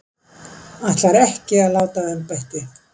Ætlar ekki að láta af embætti